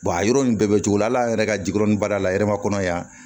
a yɔrɔ nin bɛɛ bɛ cogo hali an yɛrɛ ka jigurɛni baara la yɛrɛma kɔnɔ yan